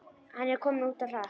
Hann er kominn út á hlað.